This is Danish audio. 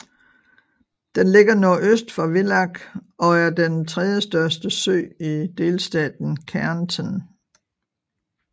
Den ligger nordøst for Villach og er den tredjestørste sø i delstaten Kärnten